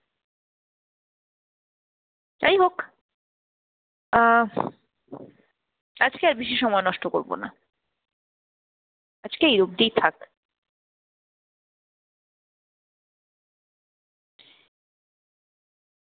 যাই হোক আহ আজকে আর বেশি সময় নষ্ট করবো না, আজকে এই অব্দিই থাক।